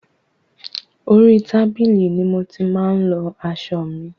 Orí tábìlì ni mo ti máa ń lọ aṣọ mi.